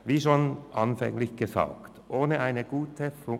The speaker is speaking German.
Wie ich bereits zu Beginn gesagt habe: